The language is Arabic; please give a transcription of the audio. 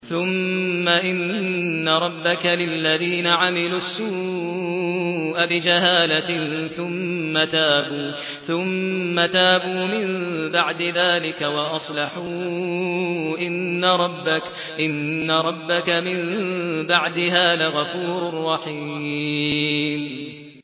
ثُمَّ إِنَّ رَبَّكَ لِلَّذِينَ عَمِلُوا السُّوءَ بِجَهَالَةٍ ثُمَّ تَابُوا مِن بَعْدِ ذَٰلِكَ وَأَصْلَحُوا إِنَّ رَبَّكَ مِن بَعْدِهَا لَغَفُورٌ رَّحِيمٌ